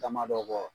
Damadɔ kɔ